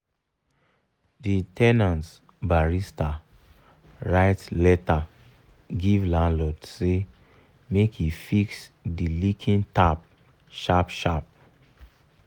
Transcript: the ten ant barista write letter give landlord say make e fix the leaking tap sharp sharp.